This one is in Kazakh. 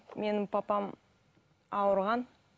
менің папам ауырған